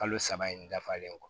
Kalo saba in dafalen don